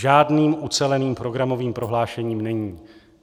Žádným uceleným programovým prohlášením není.